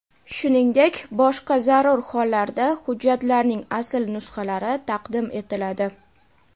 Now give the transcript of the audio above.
shuningdek boshqa zarur hollarda hujjatlarning asl nusxalari taqdim etiladi.